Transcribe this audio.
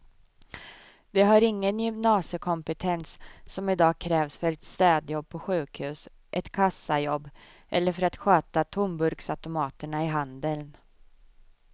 De har ingen gymnasiekompetens som i dag krävs för ett städjobb på sjukhus, ett kassajobb eller för att sköta tomburksautomaterna i handeln.